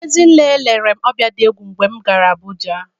Ezinne lere m ọbịa dị egwu mgbe m gara Abụja.